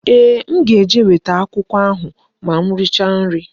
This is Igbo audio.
Ee, m ga-eje weta akwụkwọ ahụ ma m richa nri